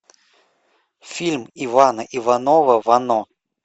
фильм ивана иванова вано